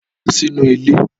Lọ sínú ilé!